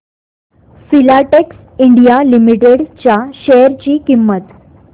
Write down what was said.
Filatex India Limited च्या share ची किंमत